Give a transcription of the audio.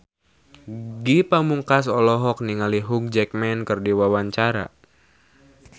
Ge Pamungkas olohok ningali Hugh Jackman keur diwawancara